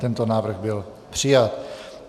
Tento návrh byl přijat.